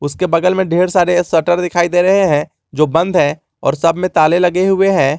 उसके बगल में ढेर सारे शटर दिखाई दे रहे हैं जो बंद है और सब में ताले लगे हुए हैं।